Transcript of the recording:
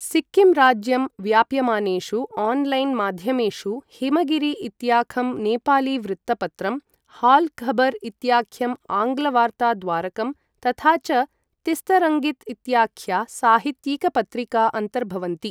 सिक्किम् राज्यं व्याप्यमानेषु आन्लैन् माध्यमेषु हिमगिरि इत्याखं नेपालीवृत्तपत्रम्, हाल् खबर् इत्याख्यम् आङ्ग्ल वार्ता द्वारकं तथा च तिस्तरङ्गित् इत्याख्या साहित्यिक पत्रिका अन्तर्भवन्ति।